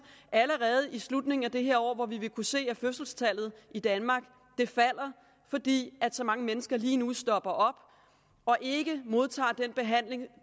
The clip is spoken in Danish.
allerede i slutningen af dette år hvor vi vil kunne se at fødselstallet i danmark falder fordi så mange mennesker lige nu stopper op og ikke modtager den behandling